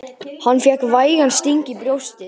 Hann fékk vægan sting í brjóstið.